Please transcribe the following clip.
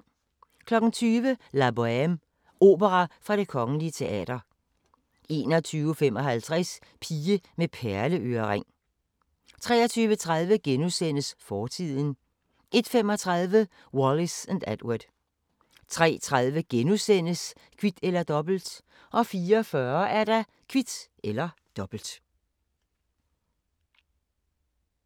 20:00: La Bohème – Opera fra Det Kgl. Teater 21:55: Pige med perleørering 23:30: Fortiden * 01:35: Wallis & Edward 03:30: Kvit eller Dobbelt * 04:40: Kvit eller Dobbelt